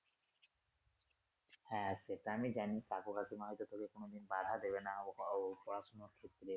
হ্যা সেটা আমি জানি কাকু কাকুমা হয়তো তোকে কোনদন বাধা দেবে না ও পড়াশুনার ক্ষেত্রে।